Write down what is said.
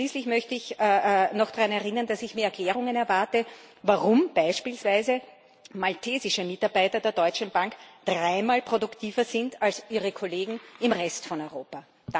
Und schließlich möchte ich noch daran erinnern, dass ich mir Erklärungen erwarte, warum beispielsweise maltesische Mitarbeiter der Deutschen Bank dreimal produktiver sind als ihre Kollegen im Rest von Europa.